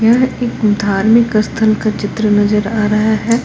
यह एक धार्मिक स्थल का चित्र नजर आ रहा है।